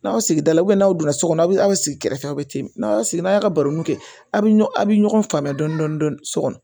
N'aw sigi da la n'aw don so kɔnɔ aw bɛ sigi kɛrɛfɛ aw bɛ ten n'a sigi n'a ka barokɛ a bɛ a' bɛ ɲɔgɔn faamuya dɔɔni dɔɔni so kɔnɔ